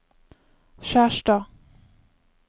Skjerstad